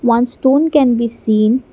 one stone can be seen.